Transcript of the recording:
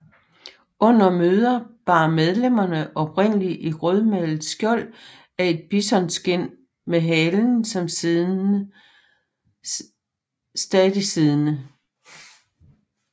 Under møder bar medlemmerne oprindeligt et rødmalet skjold af et bisonskind med halen stadig siddende